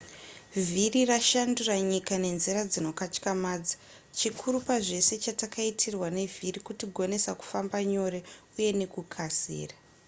vhiri rashandura nyika nenzira dzinokatyamadza chikuru pazvese chatakaitirwa nevhiri kutigonesa kufamba nyore uye nekukasira